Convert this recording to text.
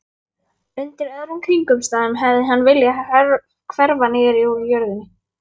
Undir öðrum kringumstæðum hefði hann viljað hverfa niður úr jörðinni.